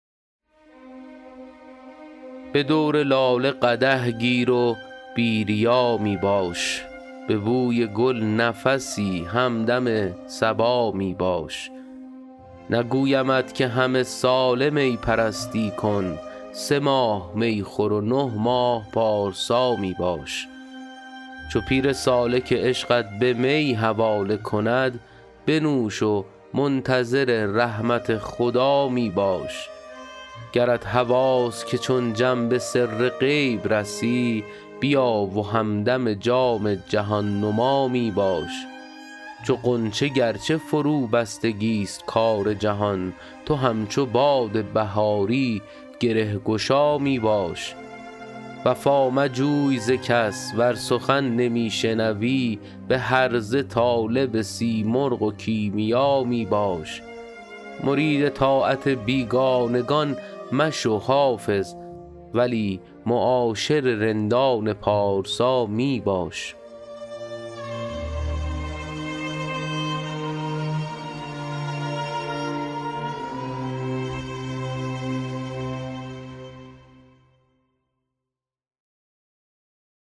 به دور لاله قدح گیر و بی ریا می باش به بوی گل نفسی همدم صبا می باش نگویمت که همه ساله می پرستی کن سه ماه می خور و نه ماه پارسا می باش چو پیر سالک عشقت به می حواله کند بنوش و منتظر رحمت خدا می باش گرت هواست که چون جم به سر غیب رسی بیا و همدم جام جهان نما می باش چو غنچه گر چه فروبستگی ست کار جهان تو همچو باد بهاری گره گشا می باش وفا مجوی ز کس ور سخن نمی شنوی به هرزه طالب سیمرغ و کیمیا می باش مرید طاعت بیگانگان مشو حافظ ولی معاشر رندان پارسا می باش